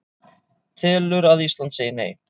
Telur að Ísland segi Nei